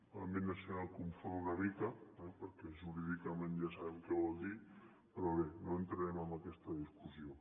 l’àmbit nacional confon una mica perquè jurídicament ja sabem què vol dir però bé no entrarem en aquesta discussió